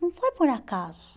Não foi por acaso.